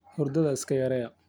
Hurdadha iska yareeya.